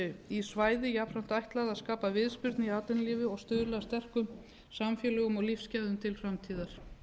í svæði jafnframt ætlað að skapa viðspyrnu í atvinnulífi og stuðla að sterkum samfélögum og lífsgæðum til framtíðar